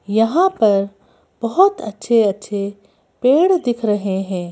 यहां पर बहुत अच्छे-अच्छे पेड़ दिख रहे हैं।